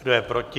Kdo je proti?